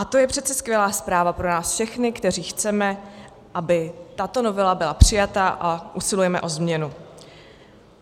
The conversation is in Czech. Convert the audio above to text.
A to je přece skvělá zpráva pro nás všechny, kteří chceme, aby tato novela byla přijata, a usilujeme o změnu.